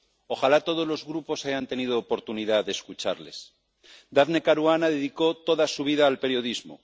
Ojalá todos los grupos hayan tenido oportunidad de escucharles. Daphne Caruana dedicó toda su vida al periodismo